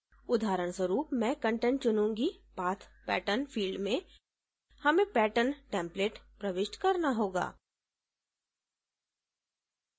उदाहरणस्वरूप मैं content चुनूँगी path pattern फिल्ड में हमें पैटर्न टेम्पलेट प्रविष्ट करना होगा